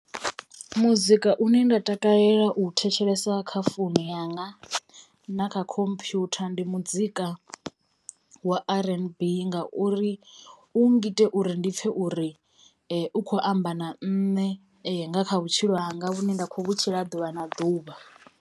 Muzika une nda takalela u thetshelesa kha founu yanga na kha computer ndi muzika wa R_N_B ngauri u ngita uri ndi pfhe uri u kho amba na ṋne nga kha vhutshilo hanga vhune nda khou vhutshila ḓuvha na ḓuvha.